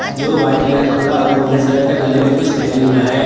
जो white colour कपड़ा और ऑरेंज कलर का गले में कुछ पहने हुआ है।